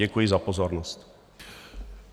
Děkuji za pozornost.